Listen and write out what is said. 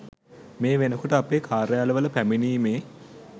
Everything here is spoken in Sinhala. මේ වෙනකොට අපේ කාර්යාලවල පැමිණීමේ